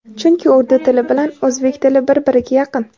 Chunki urdu tili bilan o‘zbek tili bir-biriga yaqin.